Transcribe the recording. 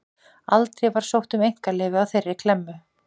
Aldrei var sótt um einkaleyfi á þeirri klemmu.